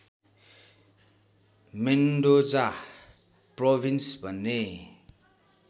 Mendoza province भन्ने